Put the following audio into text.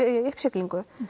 í uppsiglingu